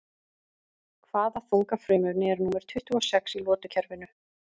Hvaða þunga frumefni er númer tuttugu og sex í lotukerfinu?